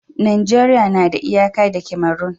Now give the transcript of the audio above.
Najeriya na da iyaka da Cameron